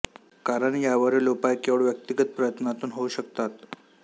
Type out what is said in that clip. कारण यावरील उपाय केवळ व्यक्तिगत प्रयत्नातून होऊ शकतात